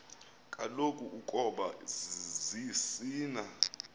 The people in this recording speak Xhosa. kaloku ukoba zisina